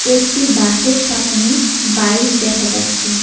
একটি বাস -এর সামোনে বাইক দেখা যাচ্ছে।